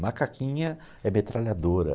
Macaquinha é metralhadora.